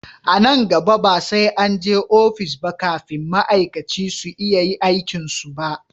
A nan gaba ba sai an je ofis ba kafin ma'aikaci su iya aikin su ba